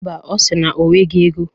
Mba, ọ si na o nweghi ego.